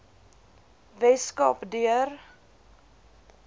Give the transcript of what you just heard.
wes kaap deur